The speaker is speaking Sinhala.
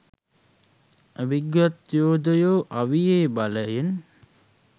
අවිගත් යෝදයෝ අවියේ බලයෙන්